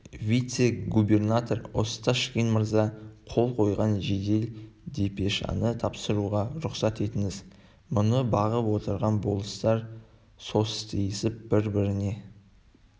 вице-губернатор осташкин мырза қол қойған жедел депешаны тапсыруға рұқсат етіңіз мұны бағып отырған болыстар состиысып бір-біріне